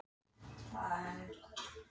Vestar, hvað er í matinn á fimmtudaginn?